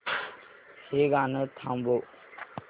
हे गाणं थांबव